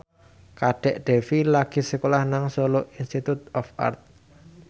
Kadek Devi lagi sekolah nang Solo Institute of Art